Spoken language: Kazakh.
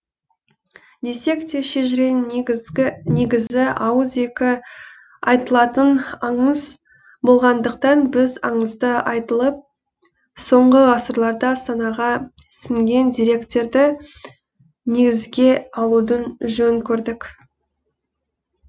десек те шежіренің негізі ауыз екі айтылатын аңыз болғандықтан біз аңызда айтылып соңғы ғасырларда санаға сіңген деректерді негізге алуды жөн көрдік